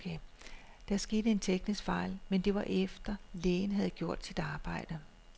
Der skete en teknisk fejl, men det var efter, lægen havde gjort sit arbejde.